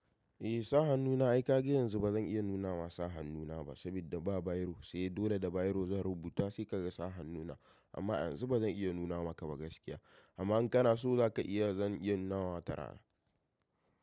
Eh sa hannu na ai ka ga yanzu ba zan iya nuna masa hannuna ba sabida ba biro sai dole da biro zan rubuta sai ka ga sa hannuna amma a yanzu ba zan iya nuna maka ba gaskiya amma in kana so za ka iya zan iya nuna wa tara.